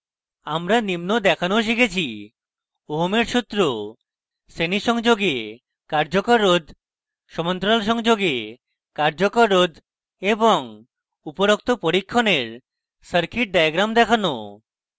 আমরা নিম্ন দেখানোও শিখেছি